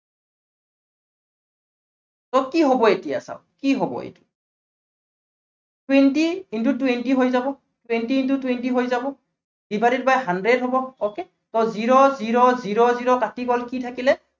so কি হব এতিয়া চাওক, কি হব এইটো twenty into twenty হৈ যাব, twenty into twenty হৈ যাব divided by hundred হব okay, so zero zero zero zero কাটি গল, কি থাকিলে